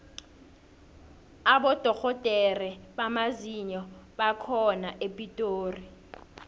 abodorhodere bamazinyo bakhona epitori